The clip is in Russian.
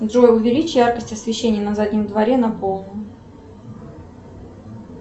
джой увеличь яркость освещения на заднем дворе на полную